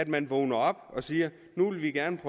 man vågner op og siger nu vil vi gerne